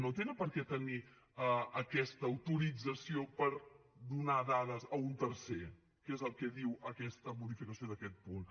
no tenen per què tenir aquesta autorització per donar dades a un tercer que és el que diu aquesta modificació d’aquest punt